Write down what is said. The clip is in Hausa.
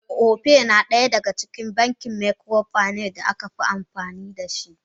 Opay na daya daga bankin microfinance da aka fi amfani dashi.